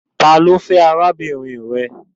Ta ni I fe arabinrin rẹ?